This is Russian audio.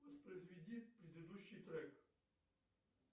воспроизведи предыдущий трек